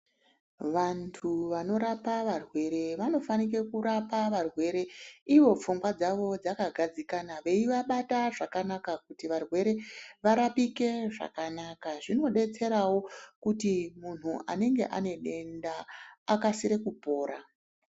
Vantu vanorapa varwere vanofanira kurapa varwere Ivo pfungwa dzawo dzakagadzikana veivabata zvakanaka Kuti varwere varapike zvakanaka zvinodetserawo Kuti munhu Anenga ane denda aksire kupora.